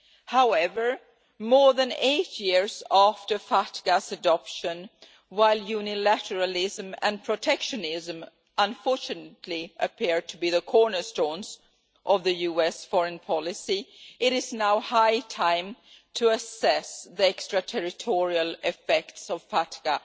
However, more than eight years after FATCA's adoption, while unilateralism and protectionism unfortunately appear to be the cornerstones of US foreign policy, it is now high time to assess the extraterritorial effects of FATCA